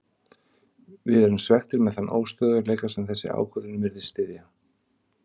Við erum svekktir með þann óstöðugleika sem þessi ákvörðun virðist styðja.